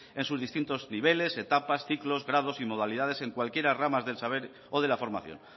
en sus distintos niveles etapas ciclos grados y modalidades en cualquier rama del saber o de la formación